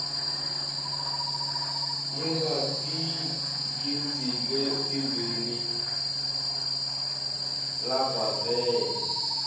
labatigidzi letimbili labavela